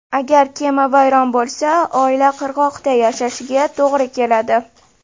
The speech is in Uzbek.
Agar kema vayron bo‘lsa, oila qirg‘oqda yashashiga to‘g‘ri keladi.